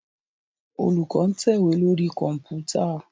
Olùkó ń tẹ̀wé lórí Kọ̀ǹpútà